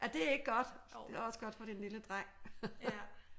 Er det ik godt? Det er også godt for din lille dreng